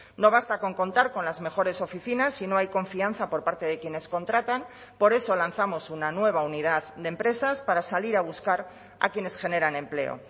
no basta con contar con las mejores oficinas si no hay confianza por parte de quienes contratan por eso lanzamos una nueva unidad de empresas para salir a buscar a quienes generan empleo